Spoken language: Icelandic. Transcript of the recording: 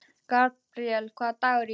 Gabríel, hvaða dagur er í dag?